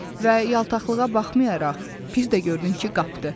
Və yaltaqlığa baxmayaraq, pis də gördün ki, qapdı.